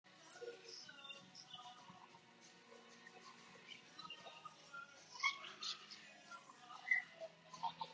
En er Dóra María sátt við ferðina í heildina?